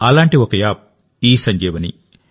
అలాంటి ఒక యాప్ ఇసంజీవని